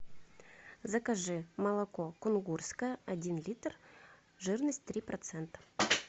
закажи молоко кунгурское один литр жирность три процента